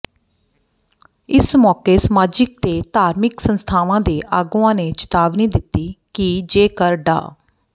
ਇਸ ਮੌਕੇ ਸਮਾਜਿਕ ਤੇ ਧਾਰਮਿਕ ਸੰਸਥਾਵਾਂ ਦੇ ਆਗੂਆਂ ਨੇ ਚੇਤਾਵਨੀ ਦਿੱਤੀ ਕਿ ਜੇਕਰ ਡਾ